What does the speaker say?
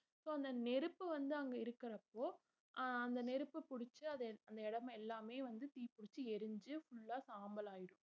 so அந்த நெருப்பு வந்து அங்க இருக்குறப்போ ஆஹ் அந்த நெருப்பு புடிச்சு அத~ அந்த இடம் எல்லாமே வந்து தீ புடிச்சு எரிஞ்சு full ஆ சாம்பலாயிடும்